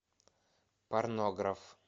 порнограф